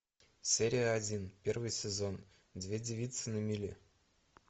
серия один первый сезон две девицы на мели